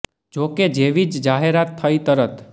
જો કે જેવી જ આ જાહેરાત થઈ તરત